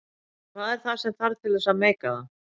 En hvað er það sem þarf til þess að meika það?